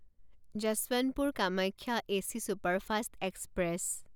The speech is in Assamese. Yesvantpur Kamakhya AC superfast express